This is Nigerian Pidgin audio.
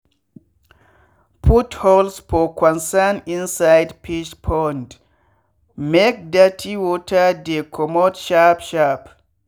put holes for corners inside fish pond make dirty water dey commot sharp sharp.